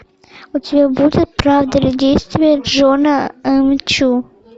у тебя будет правда или действие джона м чу